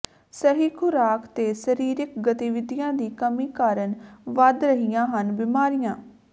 ਸਹੀ ਖੁਰਾਕ ਤੇ ਸਰੀਰਕ ਗਤੀਵਿਧੀਆਂ ਦੀ ਕਮੀ ਕਾਰਨ ਵੱਧ ਰਹੀਆਂ ਹਨ ਬਿਮਾਰੀਆਂ